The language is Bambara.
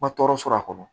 Ma tɔɔrɔ sɔrɔ a kɔnɔ